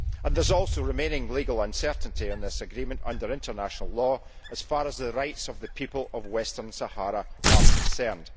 There is also remaining legal uncertainty on this agreement under international law as far as the rights of the people of Western Sahara are concerned.